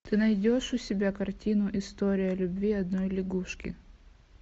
ты найдешь у себя картину история любви одной лягушки